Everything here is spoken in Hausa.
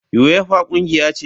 Uefa kungiya ce.